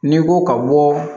N'i ko ka bɔ